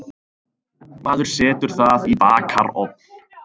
Maður setur það í bakarofn.